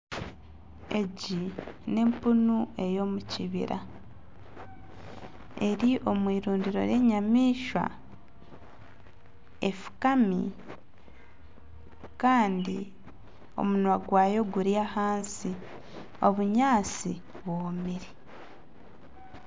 Egi n'empunu eyomukibira eri omu irundiro ry'enyamaishwa efukami kandi omunwa gwayo guri ahansi, obunyaatsi bwomire.